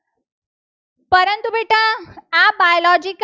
Biological